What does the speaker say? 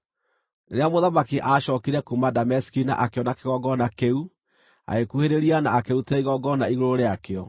Rĩrĩa mũthamaki aacookire kuuma Dameski na akĩona kĩgongona kĩu, agĩkuhĩrĩria na akĩrutĩra igongona igũrũ rĩakĩo.